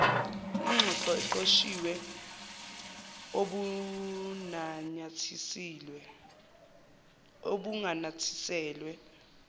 ingxoxo eqoshiwe obunanyathiselwe